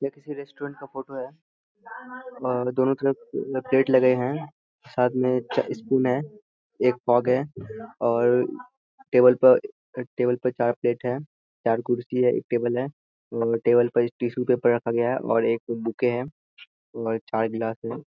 यह किसी रेस्टोरेंट का फ़ोटो है और दोनों तरफ पेड़ लगे हैं साथ में है एक हैं और टेबल पर टेबल पर चार प्लेट है चार कुर्सी है एक टेबल है और टेबल पर टिश्यू पेपर रखा गया है और एक बुके है और चार गिलास है।